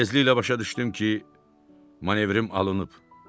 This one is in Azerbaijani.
Tezliklə başa düşdüm ki, manevrim alınıb.